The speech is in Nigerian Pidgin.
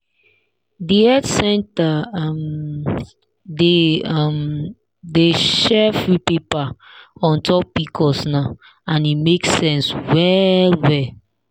the health center um dey um dey share free paper on top pcos now and e make sense well well.